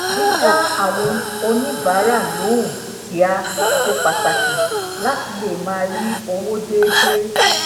dida àwọn oníbàárà lohun kíá ṣe pàtàkì láti lè máa rí owó déédéé